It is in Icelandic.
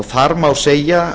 þar má segja